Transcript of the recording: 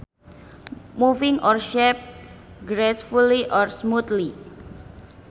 Moving or shaped gracefully or smoothly